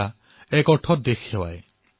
এয়াও এক ধৰণে দেশৰ প্ৰতি সেৱা